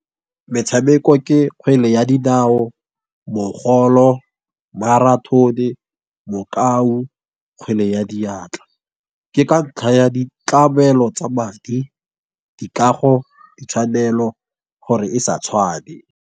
Metshameko ke kgwele ya dinao, mogolo, marathon-e, mokau, kgwele ya diatla. Ke ka ntlha ya ditlamelo tsa madi, dikago, ditshwanelo gore e sa tshwane.